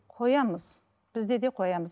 қоямыз бізде де қоямыз